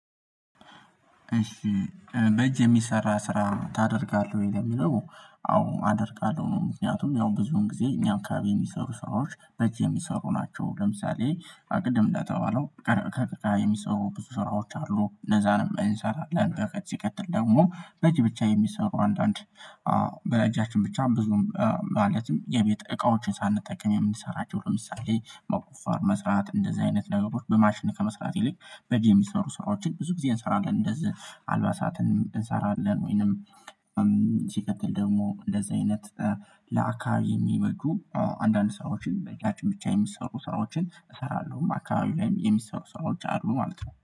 እሺ በእጅ የሚሰራ ስራ ታደርጋለህ ወይ? ለምለው አዎ አደርጋለሁ ነው። ምክንያቱም ያው ብዙውን ጊዜ እኛም አከባቢ የሚሰሩ ሰራዎች በእጅ የሚሰሩ ናቸው። ለምሳሌ አቅድም እንዳተበለው ከገበቃ የሚሰሩ ብዙ ስራዎች አሉ እነዛንም ነው አንሰራለን። ለአንተ ከዚህ ሲቀጥል ደግሞ በአጅ ብቻ የሚሰሩ አንዳንድ በእጃችን ብቻ ብዙም ማለትም የቤት እቃዎችን ሳንጠቀም የምንሰራቸው ለምሳሌ መቆፈር መስራት እንደዚህ አይነት ነገሮች በማሽን ከመስራት በእጅ የሚሰሩ ስራዎችን ብዙ ጊዜ እንሰራለን። እንደዚህ አልባሳትን እንሰራለን። ወይንም ሲቀጥል ደግሞ እንደዚህ አይነት ለአካባቢ የሚበጁ አንዳንድ ሰራዎችን በጃችን ብቻ የሚሰሩ ሰራዎችን እሰራለሁ። አካባቢው ላይም የሚሰሩ ሰራዎች አሉ ማለት ነው